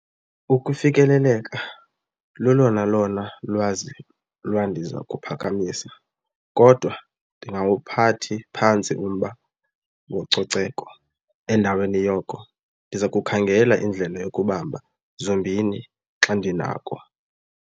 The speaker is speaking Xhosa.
Ukufikeleleka lulona lona lwazi lwandiza kuphakamisa kodwa ndingawuphathi phantsi umba wococeko. Endaweni yoko ndiza kukhangela indlela yokubamba zombini xa ndinako.